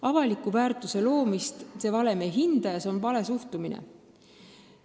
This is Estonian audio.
Avaliku väärtuse loomist see valem ei hinda ja see on vale suhtumine.